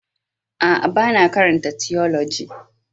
A'a, ba na karanta tiyoloji.